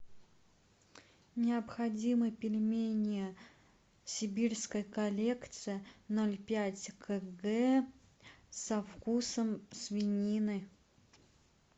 необходимы пельмени сибирская коллекция ноль пять кг со вкусом свинины